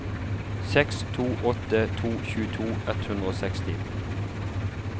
seks to åtte to tjueto ett hundre og seksti